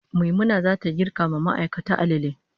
Maimuna zata girka ma ma'aikata alale